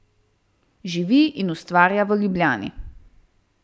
Živi in ustvarja v Ljubljani.